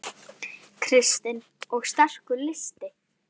Kristinn: Og sterkur listi?